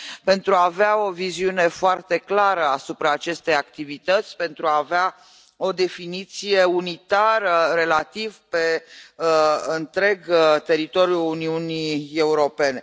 pentru a avea o viziune foarte clară asupra acestei activități, pentru a avea o definiție relativ unitară pe întreg teritoriul Uniunii Europene.